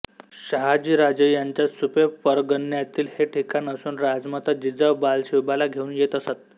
शहाजीराजे यांच्या सुपे परगण्यातील हे ठिकाण असून राजामाता जिजाऊ बालशिवबाला घेऊन येत असत